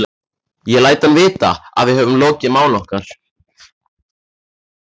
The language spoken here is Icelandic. Ég læt hann vita, að við höfum lokið máli okkar.